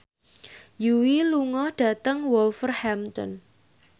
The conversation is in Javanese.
Yui lunga dhateng Wolverhampton